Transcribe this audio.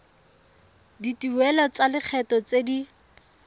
dituelo tsa lekgetho tse di